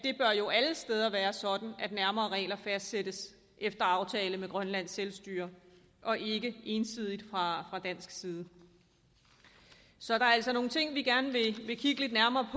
jo alle steder bør være sådan at nærmere regler fastsættes efter aftale med grønlands selvstyre og ikke ensidigt fra dansk side så der er altså nogle ting vi gerne vil kigge lidt nærmere